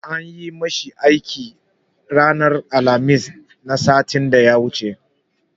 An yi ma shi aiki ranar Alhamis na satin da ya wuce.